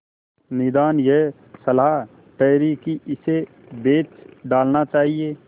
निदान यह सलाह ठहरी कि इसे बेच डालना चाहिए